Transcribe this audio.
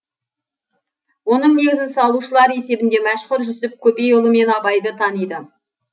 оның негізін салушылар есебінде мәшһүр жүсіп көпейұлы мен абайды таниды